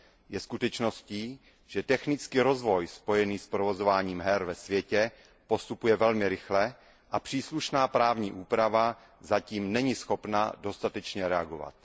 Je skutečností, že technický rozvoj spojený s provozováním her ve světě postupuje velmi rychle a příslušná právní úprava zatím není schopna dostatečně reagovat.